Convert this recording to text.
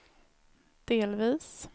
delvis